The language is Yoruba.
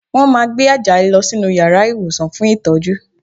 Wọ́n máa gbé Àjàyí lọ sínú yàrá ìwòsàn fún ìtọ́jú